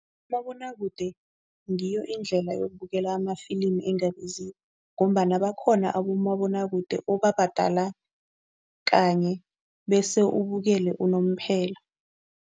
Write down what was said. Umabonwakude ngiyo indlela yokubuyela amafilimi engabiziko ngombana bakhona abomabonwakude obabhadala kanye bese ubukele unomphela.